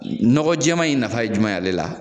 Nɔgɔn jɛɛma in nafa ye jumɛn ye ale la